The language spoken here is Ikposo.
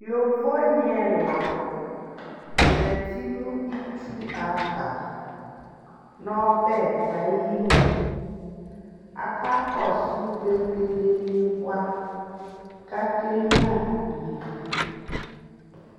Yovo ni ɛla zati nʋ itsu ava nʋ ɔbɛ ayinu Akakɔsʋ vegele ni boa kakenyua ivi